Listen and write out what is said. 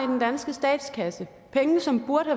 den danske statskasse penge som burde